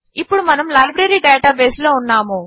ఇప్పుడు మనము library database లో ఉన్నాము